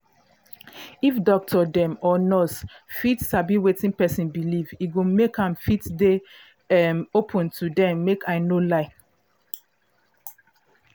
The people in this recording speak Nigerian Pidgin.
if doctor um or nurse fit sabi wetin person believe e go make am fit dey um open to dem make i no lie